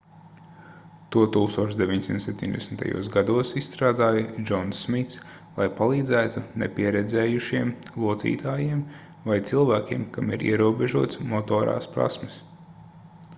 to 1970. gados izstrādāja džons smits lai palīdzētu nepieredzējušiem locītājiem vai cilvēkiem kam ir ierobežotas motorās prasmes